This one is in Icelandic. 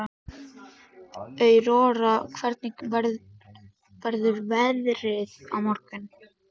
Aurora, hvernig verður veðrið á morgun?